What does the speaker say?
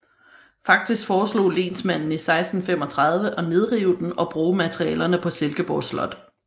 Faktisk foreslog lensmanden i 1635 at nedrive den og bruge materialerne på Silkeborg Slot